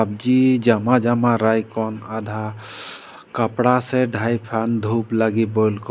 जी जमा जमा राईकौन आधा कपड़ा से धाईफन धूप लगी बोलको।